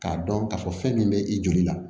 K'a dɔn k'a fɔ fɛn min bɛ i joli la